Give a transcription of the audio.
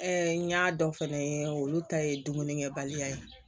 n y'a dɔn fɛnɛ olu ta ye dumunikɛbaliya ye